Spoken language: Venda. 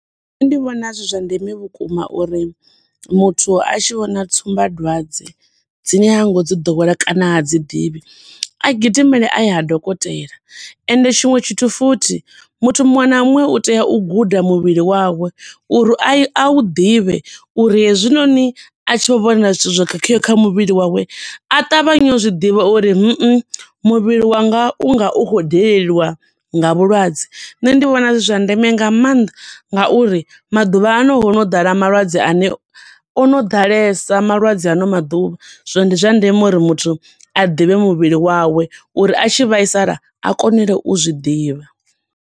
Nṋe ndi vhona zwi zwa ndeme vhukuma uri muthu a tshi vhona tsumba dwadze dzine ha ngo dzi ḓowela kana ha dzi ḓivhi, a gidimele aye ha dokotela, ende tshiṅwe tshithu futhi muthu muṅwe na muṅwe u tea u guda muvhili wawe, uri a u ḓivhe, uri he zwi noni a tshi vho vhona zwithu zwo khakheaho kha muvhili wawe, a ṱavhanye u zwiḓivha uri mmmhm muvhili wanga u nga u khou daleliwa nga vhulwadze. Nṋe ndi vhona zwi zwa ndeme nga maanḓa nga uri maḓuvhaano hono ḓala malwadze ane, ono ḓalesa malwadze a ano maḓuvha, zwino ndi zwa ndeme uri muthu a ḓivhe muvhili wawe, uri a tshi vhaisala a konele u zwiḓivha.